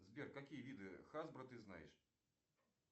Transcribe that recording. сбер какие виды хасбро ты знаешь